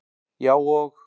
Já, og